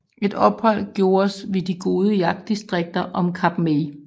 Et ophold gjordes ved de gode jagtdistrikter om Kap May